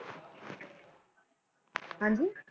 ਹਾਂਜੀ?